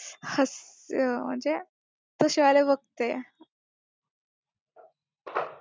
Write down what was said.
हास्य म्हणजे तसे वाले बघते